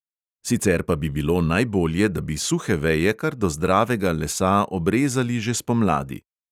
Sicer pa bi bilo najbolje, da bi suhe veje kar do zdravega lesa obrezali že spomladi.